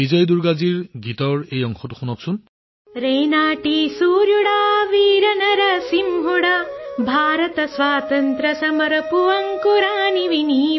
বিজয় দুৰ্গাজীৰ এই অংশটো শুনিব